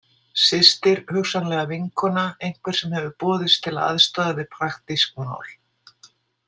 Systir, hugsanlega vinkona, einhver sem hefur boðist til að aðstoða við praktísk mál.